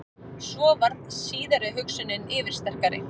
Svo varð síðari hugsunin yfirsterkari.